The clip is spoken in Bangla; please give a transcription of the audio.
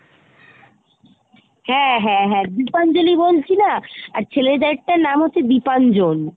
হ্যাঁ হ্যাঁ হ্যাঁ , দীপাঞ্জলি বলছি না ? আর ছেলেদের তার নাম হচ্ছে দীপাঞ্জন